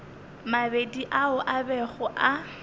mabedi ao a bego a